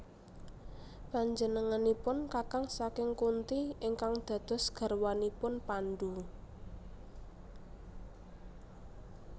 Panjenenganipun kakang saking Kunti ingkang dados garwanipun Pandu